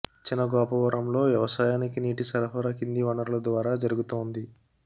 చిన గోపవరంలో వ్యవసాయానికి నీటి సరఫరా కింది వనరుల ద్వారా జరుగుతోంది